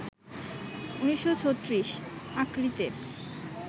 ১৯৩৬, আক্রিতে